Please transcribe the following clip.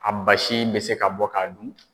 A basi in bɛ se ka bɔ k'a dun.